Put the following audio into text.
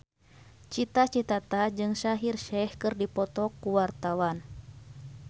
Cita Citata jeung Shaheer Sheikh keur dipoto ku wartawan